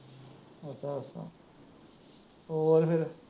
ਹੋਰ ਫਿਰ।